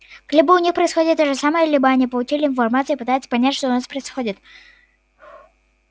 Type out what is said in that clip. либо у них происходит то же самое либо они получили информацию и пытаются понять что у нас происходит